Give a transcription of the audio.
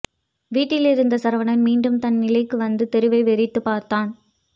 வீட்டில் இருந்த சரவணன் மீண்டும் தன் நிலைக்கு வந்து தெருவை வெறித்துப் பார்த்தான்